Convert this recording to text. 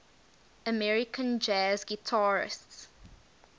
american jazz guitarists